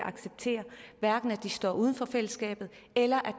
acceptere står uden for fællesskabet eller